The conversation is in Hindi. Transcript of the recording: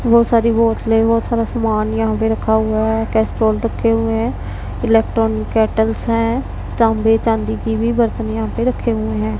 बहुत सारी बोतलें बहुत सारा सामान यहां पे रखा हुआ हैं कैस्ट्रॉल रखे हुए हैं इलेक्ट्रॉनिक कैटल्स है तांबे चांदी की भी बर्तन यहां पे रखे हुए हैं।